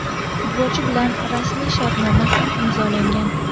Futbolchi bilan rasmiy shartnoma ham imzolangan;.